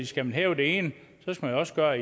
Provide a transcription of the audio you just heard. skal man hæve det ene så skal man også gøre